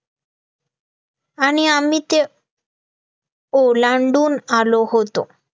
आणि आम्ही ते ओलांडून आलो होतो